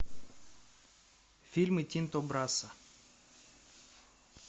фильмы тинто брасса